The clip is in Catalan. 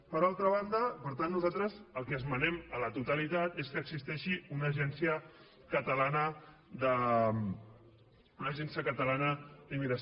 per altra banda per tant nosaltres el que esmenem a la totalitat és que existeixi una agència catalana d’immigració